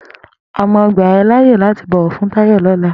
Àmá gbà è làyé làtí bọwọ fún Tayo lọ̀lá